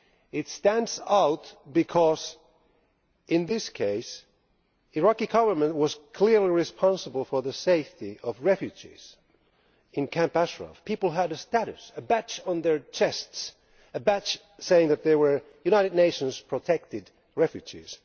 It stands out because in this case the Iraqi government was clearly responsible for the safety of refugees in Camp Ashraf people who had a status, a badge on their chests a badge saying that they were United Nations protected refugees.